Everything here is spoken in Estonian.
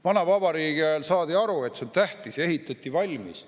Vana vabariigi ajal saadi aru, et see on tähtis, ja ehitati valmis.